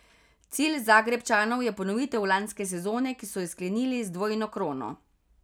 Cilj Zagrebčanov je ponovitev lanske sezone, ki so jo sklenili z dvojno krono.